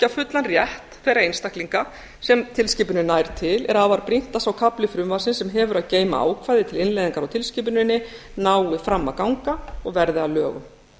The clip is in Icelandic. fullan rétt þeirra einstaklinga sem tilskipunin nær til er afar brýnt að sá kafli frumvarpsins sem hefur að geyma ákvæði til innleiðingar á tilskipuninni nái fram að ganga og verði að lögum